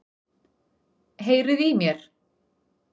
Heyriði í mér?